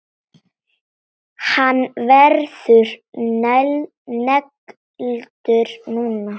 Hann verður negldur núna!